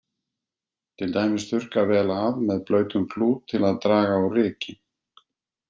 Til dæmis að þurrka vel af með blautum klút til þess að draga úr ryki.